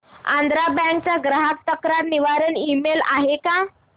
Andhra bank चा ग्राहक तक्रार निवारण ईमेल आहे का